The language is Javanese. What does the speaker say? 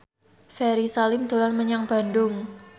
Ferry Salim dolan menyang Bandung